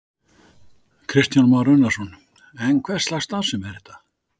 Kristján Már Unnarsson: En hverslags starfsemi er þetta?